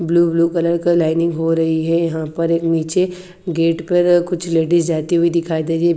Blue blue colour का lining हो रही है यहां पर एक नीचे गेट पर कुछ लेडीज जाती हुई दिखाई दे रही है।